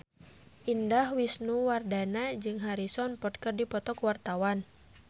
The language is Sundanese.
Indah Wisnuwardana jeung Harrison Ford keur dipoto ku wartawan